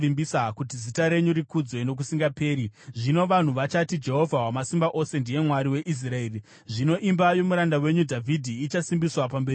kuti zita renyu rikudzwe nokusingaperi. Zvino vanhu vachati, ‘Jehovha Wamasimba Ose ndiye Mwari weIsraeri!’ Zvino imba yomuranda wenyu Dhavhidhi ichasimbiswa pamberi penyu.